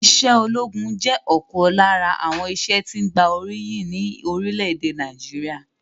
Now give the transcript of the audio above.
Ìṣe ológun jẹ́ ọ̀kan lára àwọn iṣẹ́ tí gba oríyìn ni orílẹ̀èdè Nàìjíríà